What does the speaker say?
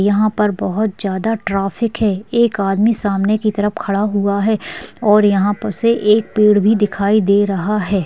यहां पर बहुत ज्यादा ट्रैफिक है एक आदमी सामने की तरफ खड़ा हुआ है और यहां पर से एक पेड़ भी दिखाई दे रहा है ।